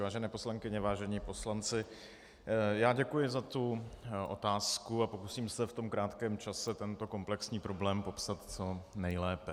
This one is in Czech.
Vážené poslankyně, vážení poslanci, já děkuji za tu otázku a pokusím se v tom krátkém čase tento komplexní problém popsat co nejlépe.